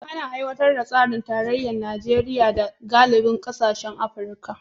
Ana aiwatar da tsarin tarayya a Najeriya da galibin kasashen Afirka